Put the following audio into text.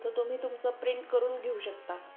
तो तुम्ही तुमचं प्रिंट करून घेऊ शकता